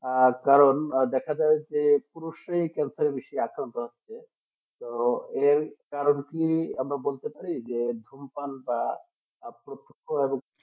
আর কারণ আর দেখা যায় যে পুরো সেই ক্যান্সারের বেশি আক্রান্ত হচ্ছে তো এই কারণটি আমরা বলতে পারি ধূমপান বা স্বাস্থ্য ক্ষেত্রে